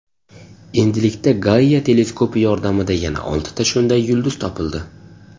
Endilikda Gaia teleskopi yordamida yana oltita shunday yulduz topildi.